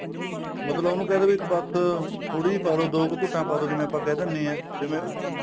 ਮਤਲਬ ਉਹਨੂੰ ਕਹਿ ਦੋ ਵੀ ਬੱਸ ਥੋੜੀ ਜੀ ਪਾ ਲੋ ਦੋ ਘੂਟਾ ਪਾ ਦੋ ਜਿਵੇਂ ਆਪਾਂ ਕਹਿ ਦਿਨੇ ਆ ਜਿਵੇਂ